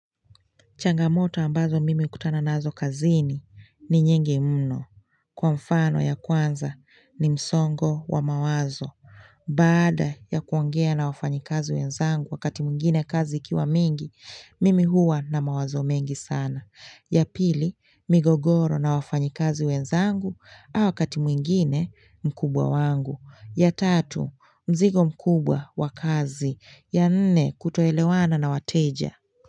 Changamoto ambazo mimi hukutana nazo kazini ni nyingi mno kwa mfano ya kwanza ni msongo wa mawazo. Baada ya kuongea na wafanyikazi wenzangu wakati mwingine kazi ikiwa mingi, mimi huwa na mawazo mengi sana. Ya pili, migogoro na wafanyikazi wenzangu au wakati mwingine mkubwa wangu. Ya tatu, mzigo mkubwa wa kazi. Ya nne, kutoelewana na wateja.